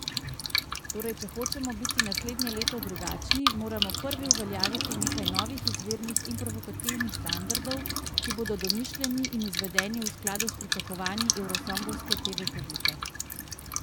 Torej če hočemo biti naslednje leto drugačni, moramo prvi uveljaviti nekaj novih izvirnih in provokativnih standardov, ki bodo domišljeni in izvedeni v skladu s pričakovanji eurosongovske teve publike.